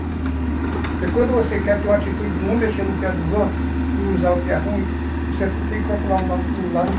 Porque quando você quer ter uma atitude de não mexer no que é dos outros, não usar o que é ruim, você tem que procurar o lado